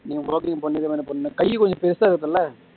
நீங்க walking போனீங்கன்னா என்ன பண்ணும் கை கொஞ்சம் பெரிசா இருக்கும்ல